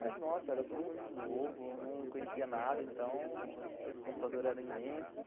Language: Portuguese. Mas, nossa, era tudo muito novo, eu não conhecia nada, então os computadores eram imensos.